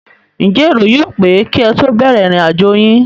Ǹjẹ́ èrò yóò pé kí ẹ tó bẹ̀rẹ̀ ìrìn àjò yín?